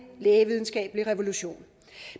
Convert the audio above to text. lægevidenskabelig revolution